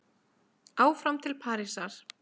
Áfram til Parísar